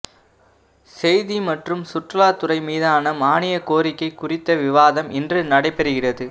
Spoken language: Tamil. செய்தி மற்றும் சுற்றுலா துறை மீதான மானியக் கோரிக்கை குறித்த விவாதம் இன்று நடைபெறுகிறது